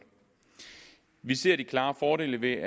vi ser de klare fordele ved